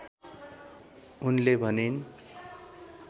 उनले भनिन्